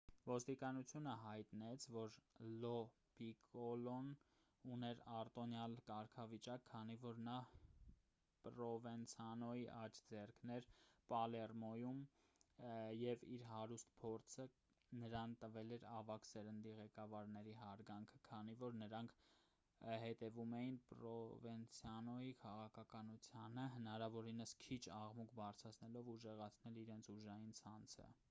ոստիկանությունը հայտնեց որ լո պիկոլոն ուներ արտոնյալ կարգավիճակ քանի որ նա պրովենցանոյի աջ ձեռքն էր պալերմոյում և իր հարուստ փորձը նրան տվել էր ավագ սերնդի ղեկավարների հարգանքը քանի որ նրանք հետևում էին պրովենցանոյի քաղաքականությանը հնարավորինս քիչ աղմուկ բարձրացնելով ուժեղացնել իրենց ուժային ցանցը